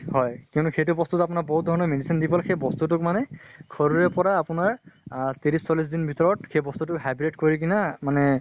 হয়। কিন্তু সেইটো বস্তুত বহুত ধৰণৰ medicine দি ফালে সেই বস্তুটোক মানে শৰীৰৰ পৰা আপোনাৰ ত্ৰিস চল্লিছ দিন ভিতৰত সেই বস্তুটো hybrid কৰি কিনা মানে